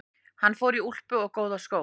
Hann fór í úlpu og góða skó.